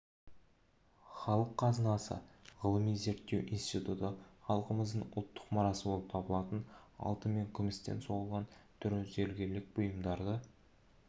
халық қазынасы ғылыми-зерттеу институты халқымыздың ұлттық мұрасы болып табылатын алтын мен күмістен соғылған түрлі зергерлік бұйымдарды